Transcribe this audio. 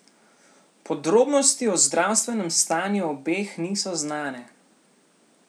Podrobnosti o zdravstvenem stanju obeh niso znane.